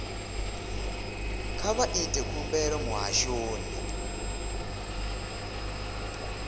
kha vha ite khumbelo muhashoni